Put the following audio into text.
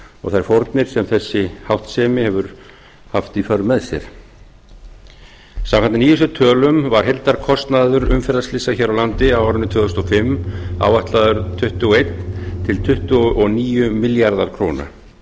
og þær fórnir sem þessi háttsemi hefur haft í för með sér samkvæmt nýjustu tölum var heildarkostnaður umferðarslysa hér á landi á árinu tvö þúsund og fimm áætlaður tuttugu og eitt til tuttugu og níu milljarðar króna